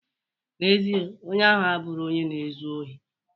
Na-ezie, onye ahụ abụro onye na-ezu ori.